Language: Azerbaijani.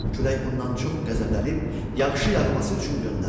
Külək bundan çox qəzəblənib yağışı yağması üçün göndərdi.